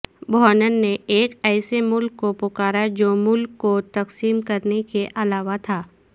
بوھنن نے ایک ایسے ملک کو پکارا جو ملک کو تقسیم کرنے کے علاوہ تھا